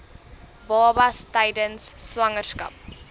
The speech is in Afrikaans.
babas tydens swangerskap